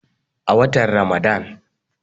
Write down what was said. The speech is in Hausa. a watan Ramadan